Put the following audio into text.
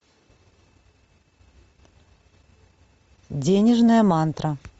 денежная мантра